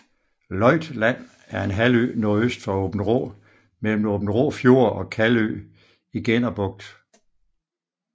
Løjt Land er en halvø nordøst for Aabenraa mellem Aabenraa Fjord og Kalvø i Genner Bugt